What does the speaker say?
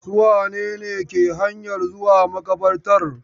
Su wane ne ke hanyan zuwa maƙabartar?